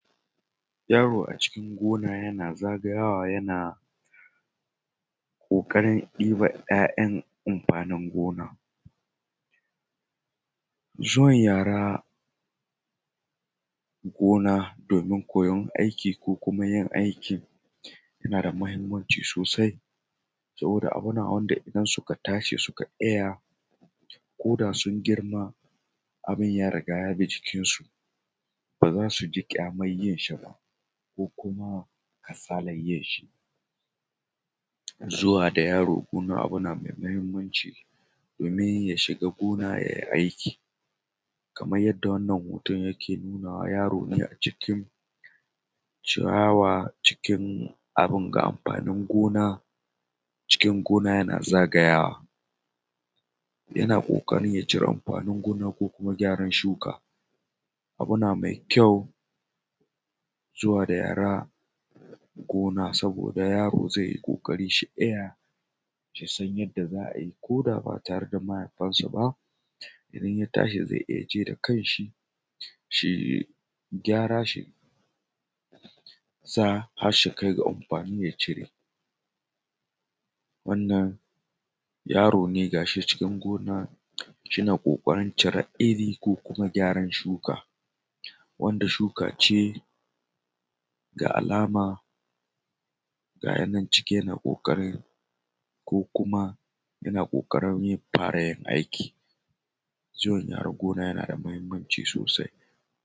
Yaro a cikin gona yana zagayawa yana ƙoƙarin ɗiban 'ya'yan amfanin gona. Zuwan yara gona domin koyan aiki ko kuma yin aikin yana da muhimmanci sosai saboda abu ne wanda idan suka tashi suka iya ko da sun girma abun ya riga ya bi jikin su ba za su ji kyaman yin shi ba ko kuma kasalan yin shi. Zuwa da yaro wani abu ne na da muhimmanci domin ya shiga gona yai aiki kaman yadda wannan hoto yake nuna wa yaro a cikin ciyawa cikin abun ga amfanin gona cikin gona yana za ga yawa, yana ƙoƙarin ya cire amfanin gona ko kuma gyara shuka, abu ne mai kyau zuwa da yara gona saboda yaro zai yi ƙoƙari shi iya shi san yanda za a yi ko ba ba tare da mahaifinsa ba, idan ya tashi zai iya je da kan shi shi gyara shi sa har su kai ga amfani ya cire. Wannan yaro ne ga shi cikin gona yana ƙoƙarin ciren iri, ko kuma gyaran shuka wanda shuka ce ga alama gayi nan cike da ƙoƙarin ko kuma yana ƙoƙarin ya fara yin aiki. Zuwan yara gona yana da muhimmanci sosai.